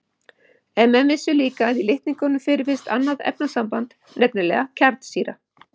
En menn vissu líka að í litningum fyrirfinnst annað efnasamband, nefnilega kjarnsýra.